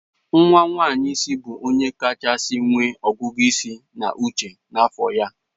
Nwa nwanyị isi bụ onye kachasị nwee ọgụgụ isi na uche n'afọ ya.